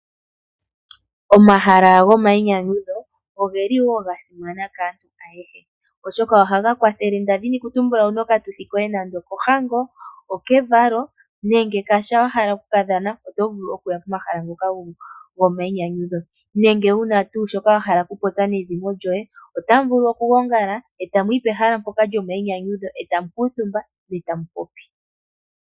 Omahala gomainyanyudho ogeli gasimana kaantu ayehe molwaashoka ohaga kwathele iituthi yomanyanyu ngaashi oohango, omavalo nenge wuna shoka wahala okupopya nezimo lyoye otamuvulu okugongala etamuyi pehala mpoka etamu kundathana.